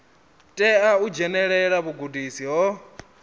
tea u dzhenelela vhugudisi ho